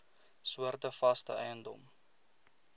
soorte vaste eiendom